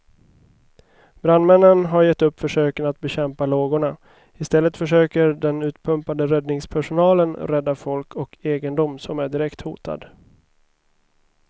Brandmännen har gett upp försöken att bekämpa lågorna, istället försöker den utpumpade räddningspersonalen rädda folk och egendom som är direkt hotad.